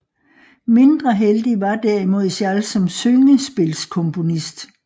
Mindre heldig var derimod Schall som syngespilkomponist